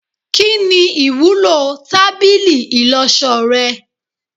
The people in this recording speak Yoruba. Kini iwulo tábìlì ìloso rẹ